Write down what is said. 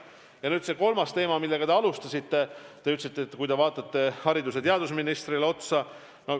Ja nüüd see kolmas teema, mille te tõstatasite, vaadates otsa ka haridus- ja teadusministrile.